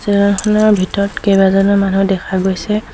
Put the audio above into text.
জেগাখনৰ ভিতৰত কেবাজনো মানুহ দেখা গৈছে।